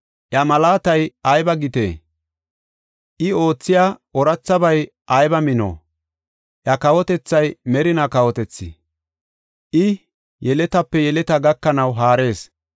Iya malaatay ayba gite! I oothiya oorathabay ayba mino! Iya kawotethay merina kawotethi; I yeletaape yeletaa gakanaw haarees.